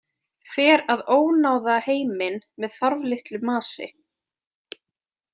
Fer að ónáða heiminn með þarflitlu masi.